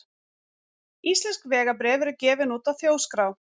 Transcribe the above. Íslensk vegabréf eru gefin út af Þjóðskrá.